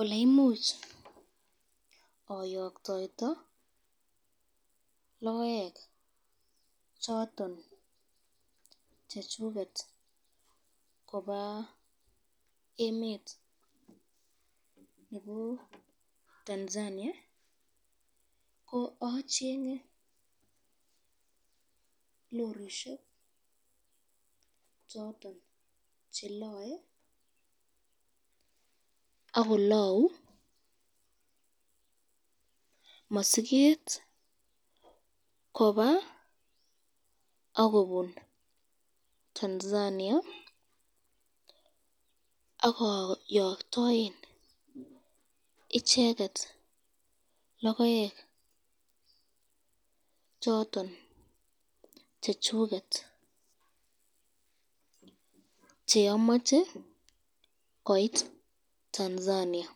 Oleimuch oyoktoito kokoek choton chechuket koba emet nebo Tanzania, ko achenge lorishek choton chelae akolau masiket kobaa akobin Tanzania akoyokyoen icheket kokoek choton chechuket cheamache koit Tanzania,